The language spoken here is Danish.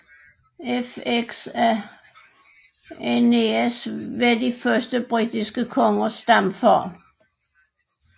Fx at Aeneas var de første britiske kongers stamfader